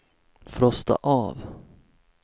frosta av